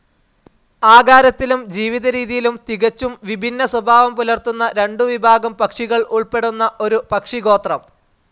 ആകാരത്തിലും ജീവിതരീതിയിലും തികച്ചും വിഭിന്ന സ്വഭാവം പുലർത്തുന്ന രണ്ടു വിഭാഗം പക്ഷികൾ ഉൾപ്പെടുന്ന ഒരു പക്ഷിഗോത്രം.